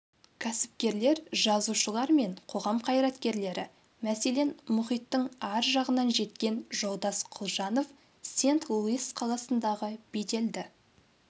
кәсіпкерлер жазушылар мен қоғам қайраткерлері мәселен мұхиттың ар жағынан жеткен жолдас құлжанов сент-луис қаласындағы беделді